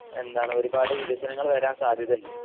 ഒരുപാട് വികസനങ്ങൾ വരാൻ സാധ്യതയിണ്ട്